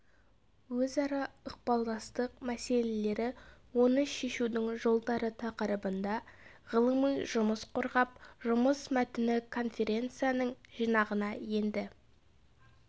өзара ықпалдастық мәселелері оны шешудің жолдары тақырыбында ғылыми жұмыс қорғап жұмыс мәтіні конференцияның жинағына енді